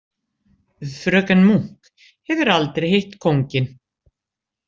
Fröken Munk hefur aldrei hitt kónginn.